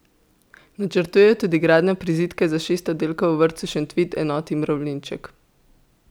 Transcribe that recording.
Načrtujejo tudi gradnjo prizidka za šest oddelkov v vrtcu Šentvid, enoti Mravljinček.